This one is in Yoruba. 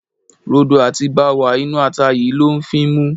Rodo àti báwà inú ata yìí ló ń fímú.